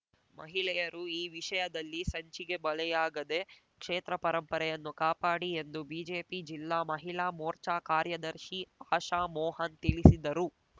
ಮಹಿಳೆಯರು ಈ ವಿಷಯದಲ್ಲಿ ಸಂಚಿಗೆ ಬಲಿಯಾಗದೆ ಕ್ಷೇತ್ರ ಪರಂಪರೆಯನ್ನು ಕಾಪಾಡಿ ಎಂದು ಬಿಜೆಪಿ ಜಿಲ್ಲಾ ಮಹಿಳಾ ಮೋರ್ಚಾ ಕಾರ್ಯದರ್ಶಿ ಅಶಾಮೋಹನ್‌ ತಿಳಿಸಿದರು